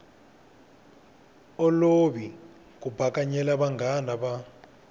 olovi ku bakanyela vanghana va